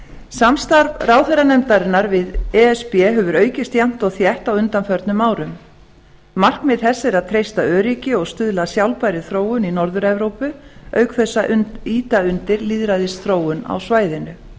samstarf ráðherranefndarinnar við e s b hefur aukist jafnt og þétt á undanförnum árum markmið þess er að treysta öryggi og stuðla að sjálfbærri þróun í norður evrópu auk þess að ýta undir lýðræðisþróun á svæðinu